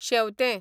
शेंवतें